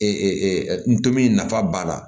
nto nafa b'a la